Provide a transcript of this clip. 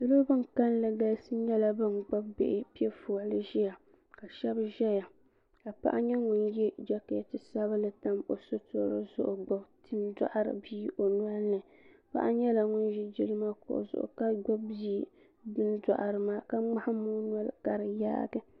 salo bin kanli nyɛla bin gbubi bihi piɛ fɔli ʒiya ka shab ʒɛya ka paɣa nyɛ ŋun yɛ jɛkɛti sabinli tam o sitiri zuɣu gbubi bini n doɣari bia o nolini paɣa nyɛla ŋun ʒi jilima kuɣu zuɣu ka gbubi bia bin doɣari maa ka ŋmaham o noli ka di yaagi